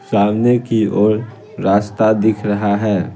सामने की ओर रास्ता दिख रहा है।